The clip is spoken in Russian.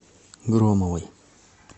громовой